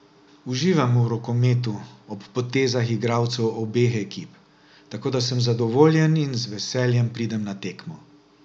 Uživam v rokometu, ob potezah igralcev obeh ekip, tako da sem zadovoljen in z veseljem pridem na tekmo.